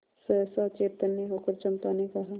सहसा चैतन्य होकर चंपा ने कहा